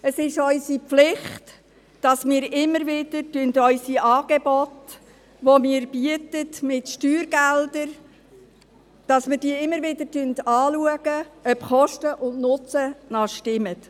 Es ist unsere Pflicht, unsere Angebote, die wir mit Steuergeldern finanzieren, immer wieder anschauen und zu prüfen, ob das Verhältnis von Kosten und Nutzen noch stimmt.